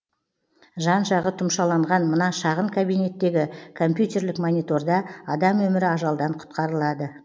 жан жағы тұмшаланған мына шағын кабинеттегі компьютерлік мониторда адам өмірі ажалдан құтқарылады